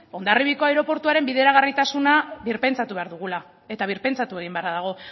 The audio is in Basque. hondarribiako aireportuaren bideragarritasuna birpentsatu behar dugula eta birpentsatu egin beharra dago